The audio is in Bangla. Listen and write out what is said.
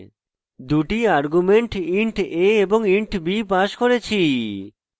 দুটি arguments int a এবং int b passed করেছি